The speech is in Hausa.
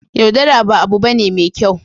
yaudara ba abu bane me kyau